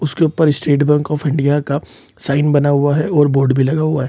उसके ऊपर State Bank of India का साइन बना हुआ है और बोर्ड भी लगा हुआ है।